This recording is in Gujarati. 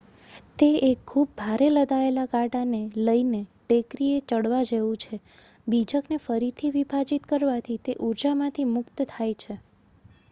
તે એક ખુબ ભારે લદાયેલા ગાડાને લઈને ટેકરીએ ચડવા જેવું છે બીજકને ફરીથી વિભાજીત કરવાથી તે ઉર્જામાંથી મુક્ત થાય છે